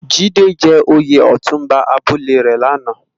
Jide jè óyé òtúnbá àbúlé rè làná